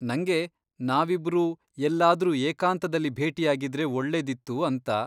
ನಂಗೆ ನಾವಿಬ್ರೂ ಎಲ್ಲಾದ್ರೂ ಏಕಾಂತದಲ್ಲಿ ಭೇಟಿಯಾಗಿದ್ರೆ ಒಳ್ಳೆದಿತ್ತು ಅಂತ.